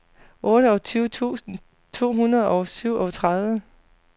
otteogtyve tusind to hundrede og syvogtredive